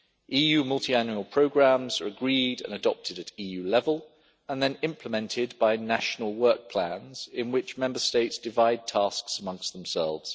EU multiannual programmes are agreed and adopted at EU level and then implemented by national work plans in which Member States divide tasks amongst themselves.